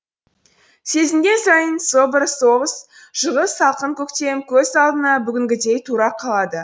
сезінген сайын со бір соғыс жылғы салқын көктем көз алдына бүгінгідей тура қалады